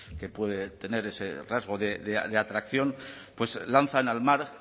que puede tener ese rasgo de atracción lanzan al mar